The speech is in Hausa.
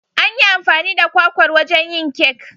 An yi amfani da kwakwar wajen yin kek